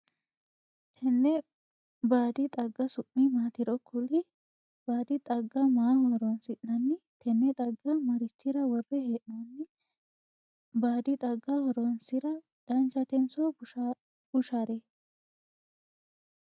Tenne baadi xagga su'ma maatiro kuli? Baadi xagga maaho horoonsi'nanni? Tenne xagga marichira wore hee'noonni? Baadi xagga horoonsira danchatensoo bushare?